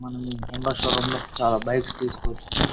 మనం ఈ హోండా షోరూంలో చాలా బైక్స్ తీసుకోవచ్చు.